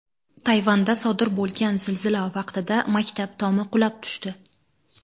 Tayvanda sodir bo‘lgan zilzila vaqtida maktab tomi qulab tushdi.